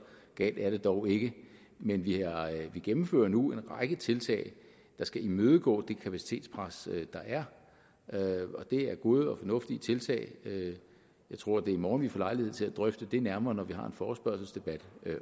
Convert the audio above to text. galt er det dog ikke men vi gennemfører nu en række tiltag der skal imødegå det kapacitetspres der er det er gode og fornuftige tiltag jeg tror det er i morgen at vi får lejlighed til at drøfte det nærmere når vi har en forespørgselsdebat